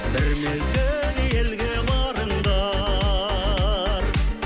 бір мезгіл елге барыңдар